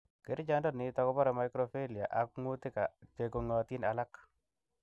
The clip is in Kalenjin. Kerichondoniton kobore microfilaria ak ng'utik chekong'iotin alak.